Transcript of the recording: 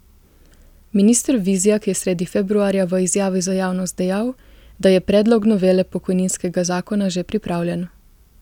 Minister Vizjak je sredi februarja v izjavi za javnost dejal, da je predlog novele pokojninskega zakona že pripravljen.